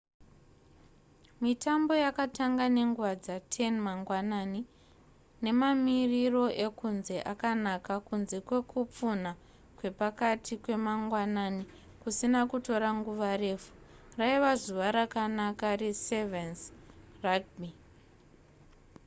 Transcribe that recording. mitambo yakatanga nenguva dza10:00 mangwanani nemamiriro ekunze akanaka kunze kwekupfunha kwepakati kwemagwanani kusina kutora nguva refu raiva zuva rakanaka re7's rugby